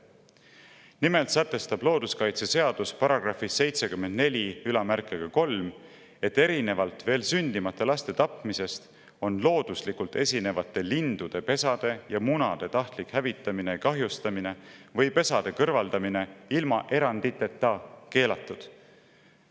Nimelt sätestab looduskaitseseaduse § 743, et erinevalt veel sündimata laste tapmisest on looduslikult esinevate lindude pesade ja munade tahtlik hävitamine ja kahjustamine või pesade kõrvaldamine ilma eranditeta keelatud.